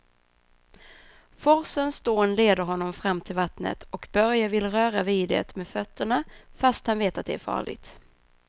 Forsens dån leder honom fram till vattnet och Börje vill röra vid det med fötterna, fast han vet att det är farligt.